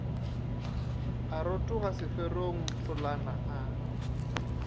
a rotoga seferong tholana a